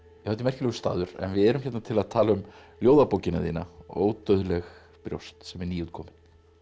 þetta er merkilegur staður en við erum hérna til að tala um ljóðabókina þína ódauðleg brjóst sem er nýútkomin